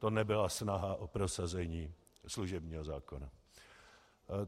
To nebyla snaha o prosazení služebního zákona.